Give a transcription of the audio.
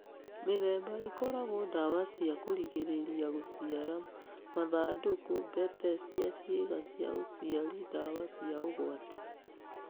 Mĩthemba ĩkoragwo dawa cia kũringĩrĩria gũciara, mathandũkũ, mbete cia ciĩga cia ũciari ndawa cia ũgwati.